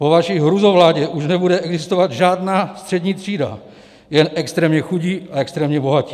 Po vaší hrůzovládě už nebude existovat žádná střední třída, jen extrémně chudí a extrémně bohatí.